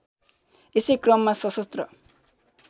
यसै क्रममा सशस्त्र